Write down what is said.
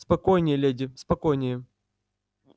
спокойнее леди спокойнее